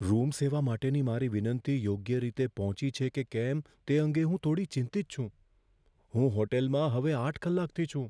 Room સેવા માટેની મારી વિનંતી યોગ્ય રીતે પહોંચી છે કે કેમ તે અંગે હું થોડી ચિંતિત છું. હું ત્યાં હોટેલમાં હવે આઠ કલાકથી છું.